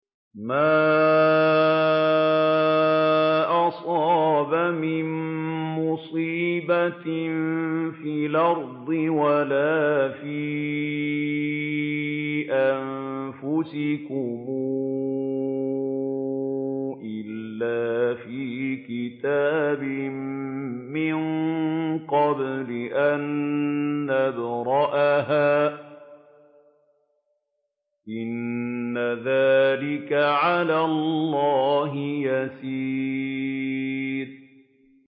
مَا أَصَابَ مِن مُّصِيبَةٍ فِي الْأَرْضِ وَلَا فِي أَنفُسِكُمْ إِلَّا فِي كِتَابٍ مِّن قَبْلِ أَن نَّبْرَأَهَا ۚ إِنَّ ذَٰلِكَ عَلَى اللَّهِ يَسِيرٌ